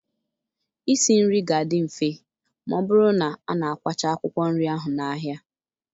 Isi nri ga-adị mfe ma ọ bụrụ na a na-akwacha akwụkwọ nri ahụ n'ahịa.